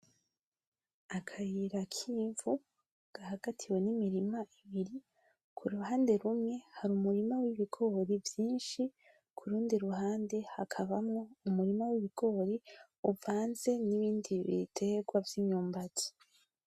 Akayir k’ivu gahagatiwe n’imirima ibiri k’urundi ruhande hari umurima w’ibigori vyishi kurundi ruhande hakabamo umurima w’ibigori uvanze n’ibindi biterwa vy’imyumbati.